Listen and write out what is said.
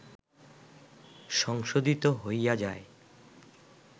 সংশোধিত হইয়া যায়